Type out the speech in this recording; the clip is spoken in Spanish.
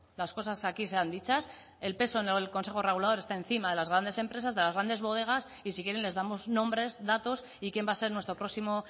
las cosas aquí sean dichas el peso en el consejo regulador está encima de las grandes empresas de las grandes bodegas y si quieren les damos nombres datos y quién va a ser nuestro próximo